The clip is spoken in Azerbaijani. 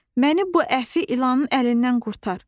məni bu əfi ilanın əlindən qurtar.